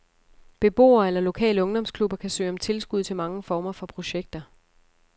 Beboere eller lokale ungdomsklubber kan søge om tilskud til mange former for projekter.